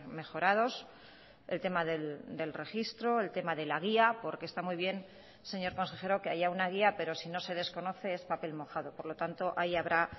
mejorados el tema del registro el tema de la guía porque está muy bien señor consejero que haya una guía pero si no se desconoce es papel mojado por lo tanto ahí habrá